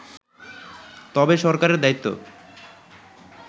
তবে সরকারের দায়িত্ব